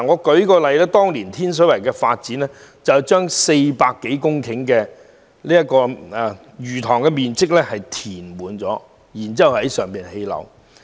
舉例來說，當年發展天水圍時，有面積達400多公頃的魚塘被填平，然後在上興建樓宇。